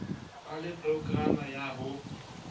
ba le programa ya ho